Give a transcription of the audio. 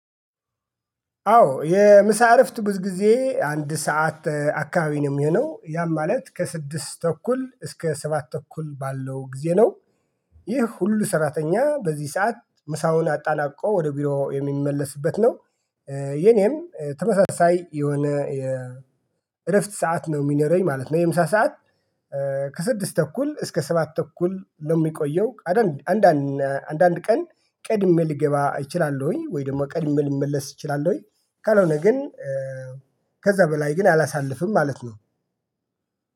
አዎ የምሳ እረፍት ብዙ ጊዜ አንድ ሰዓት አካባቢ ነው የሚሆነው ያም ማለት ከስድስት ተኩል እስከ ሰባት ተኩል ባለው ጊዜ ነው። ይህ ሁሉ ሰራተኛ በዚህ ሰዓት ምሳውን አጣናቆ ወደ ቢሮ የሚመለስበት ነው። የኔም ተመሳሳይ የሆነ የእረፍት ሰዓት ነው የሚነረኝ ማለት ነው። የምሳ ሰዓት ከስድስት ተኩል እስከ ሰባት ተኩል ለሚቆየው። አንዳንድ አንዳንድ ቀን ቀድሜ ልገባ እችላለሁኝ ወይ ደግሞ ቀድሜ ልመለስ እችላለሁኝ ወይ? ካልሆነ ግን ከዛ በላይ ግን አላሳልፍም ማለት ነው።